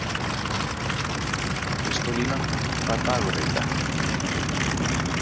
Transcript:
Kristólína, hvaða dagur er í dag?